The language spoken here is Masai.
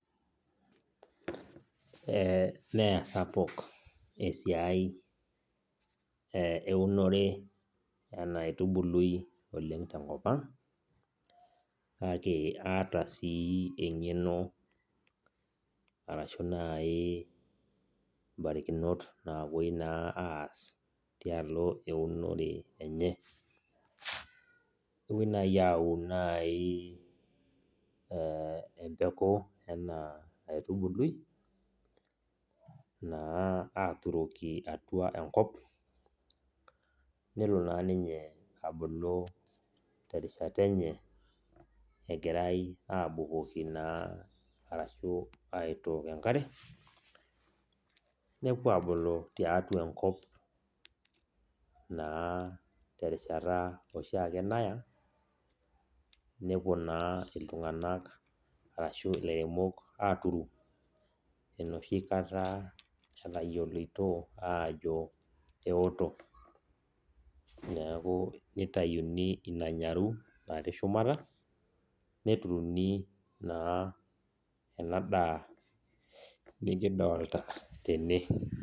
Eh mesapuk esiai eunore enaitubului oleng tenkop ang, kake aata si eng'eno arashu nai barikinot napoi nai aas, tialo eunore enye. Kepoi nai aun nai empeku ena aitubului, naa aturoki atua enkop, nelo naa ninye abulu terishata enye, egirai abukoki naa arashu aitook enkare, nepuo abulu tiatua enkop naa terishata oshiake naya, nepuo naa iltung'anak arashu ilairemok aturu enoshi kata etayioloito ajo eoto. Neeku nitayuni ina nyaru natii shumata, neturuni naa enadaa nikidolta tene.